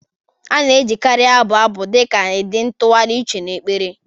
A na-ejikarị abụ abụ dị ka ụdị ntụgharị uche na ekpere